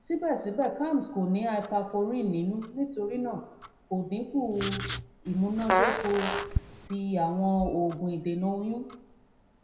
sibẹsibẹ kalms ko ni hyperforin nínú nítorí náà kò dinku imunadoko ti awọn oogun idena oyun